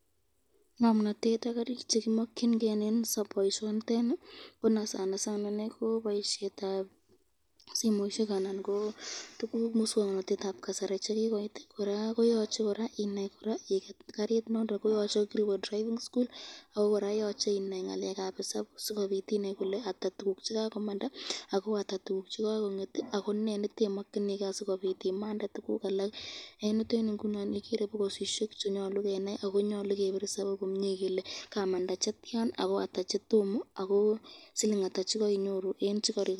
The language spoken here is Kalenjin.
Ngomnatet ak karit chekiboisyen eng boisyoniteni ,ko boisyetab simoisyek anan miswoknotetab kasari chekikoito ,koraa koyoche inai I get karit nondon yoche iwe driving school ako koraa yoche inai ngalekab isabu Sinai kole ata tukuk chekakongeti ako ne nekemakyiniken sikobit imangu tukuk alak .